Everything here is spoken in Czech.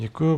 Děkuji.